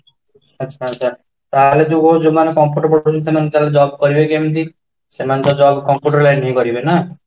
ଆଛା, ଆଛା ତାହାଲେ ଯୋଉ କହୁଛୁ ମାନେ computer ସେମାନେ job କରିବେ କେମିତି ସେମାନେ job computer line କରିବେନା